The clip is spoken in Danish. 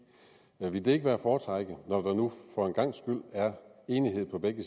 ville det ikke være at foretrække når der nu for en gangs skyld er enighed på begge